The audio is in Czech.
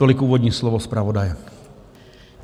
Tolik úvodní slovo zpravodaje.